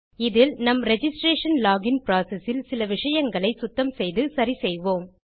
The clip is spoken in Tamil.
இதில் நம் ரிஜிஸ்ட்ரேஷன் லோகின் புரோசெஸ் இல் சில விஷயங்களை சுத்தம் செய்து சரி செய்வோம்